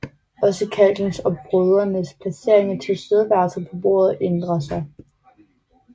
Også kalkens og brødenes placering og tilstedeværelse på bordet ændrer sig